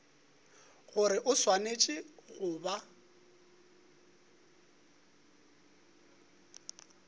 gore o swanetše go ba